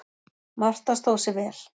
Marta stóð sig vel.